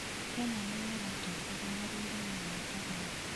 Kenya nĩ yo ĩratongoria harĩ ũrĩmi wa kahua